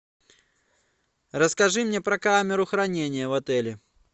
расскажи мне про камеру хранения в отеле